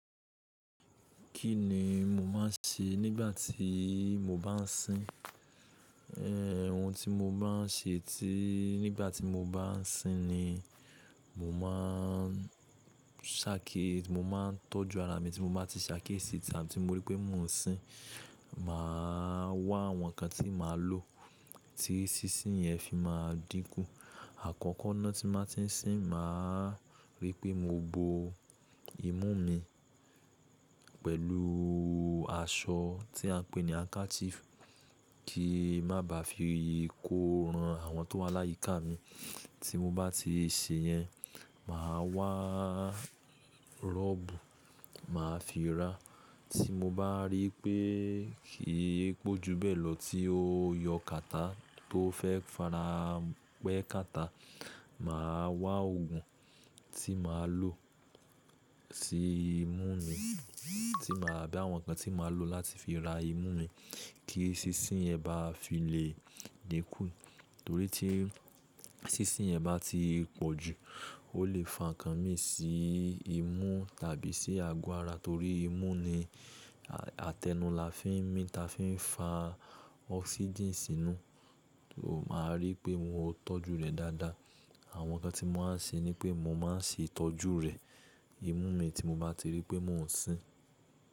Kí ni mo máa ń ṣe nígbà tí mo bá ń sín? Ehh, ohun tí mo bá ń ṣe tí-- nígbà tí mo bá ń sín ni mo máa ń ṣàkí, mo máa ń tọ́jú ara mi. Tí mo bá ti ṣe akiyesí ta tí mo rí pé mò ń sín, màá wá àwọn nǹkan tí màá lò tí sínsín yẹn fi máa dínkù. Àkọ́kọ́ náà tí bàá ti ń sín, màá rí pé mo bo imú mi pẹ̀lú aṣọ tí a ń pè ní handkerchief, kí má ba fi kó ran àwọn tó wà láyíká mi. Tí mo bá ti ṣe yẹn, màá wá robu, màá fi ra. Tí mo bá rí pé kì í pọ̀jú bẹ́ẹ̀ lọ tí ó yọ kàtà tó fẹ́ farapẹ́ kàtà, màá wá òògùn tí màá lò sí imú mi. Tí màá abi àwọn nǹkan tí màá lò láti fi ra imú mi kí sínsín yẹn ba fi lè dínkù. Torí tí sínsín yẹn bá ti pọ̀jù, ó lè fa nǹkan mìíràn sí imú tàbí sí ago ára. Torí imú ni àtẹnu là fi ń mí ta fi ń fa oxygen sínú. O máa rí pé mo tọ́jú rẹ̀ dáadáa. Àwọn nǹkan tí mo máa ń ṣe ni pé mo máa ń ṣe ìtọ́jú rẹ̀, imú mi tí mo bá ti rí pé mò ń sín.